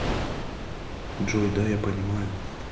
джой да я понимаю